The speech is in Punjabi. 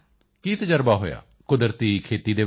ਕੀ ਤਜ਼ਰਬਾ ਹੋਇਆ ਕੁਦਰਤੀ ਖੇਤੀ ਵਿੱਚ